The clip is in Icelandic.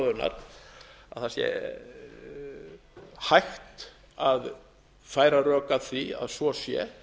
að það sé hægt að færa rök að því að svo sé